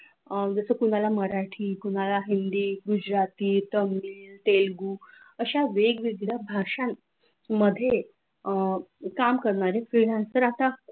अह जसं तुम्हाला मराठी तुम्हाला हिंदी गुजराती तामिळ तेलगू अशा वेगवेगळ्या भाषा मध्ये अह काम करणारी freelancer आता